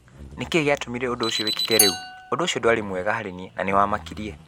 Nĩ kĩĩ gĩatũmire ũndũ ũcio wĩkĩke rĩu? Ũndũ ũcio ndwarĩ mwega harĩ niĩ na nĩwamakirie.